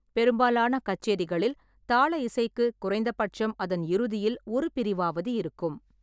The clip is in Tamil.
பெரும்பாலான கச்சேரிகளில், தாள இசைக்கு குறைந்தபட்சம் அதன் இறுதியில் ஒரு பிரிவாவது இருக்கும்.